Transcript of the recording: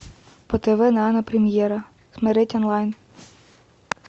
по тв нано премьера смотреть онлайн